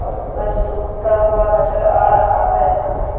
और सूरज डूबता हुआ नजर आ रहा है यहां पे।